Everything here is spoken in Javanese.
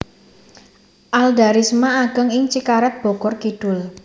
Alda Risma ageng ing Cikaret Bogor Kidul